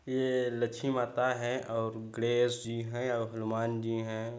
ये लक्ष्मी माता है और गणेश जी है और हनुमान जी है।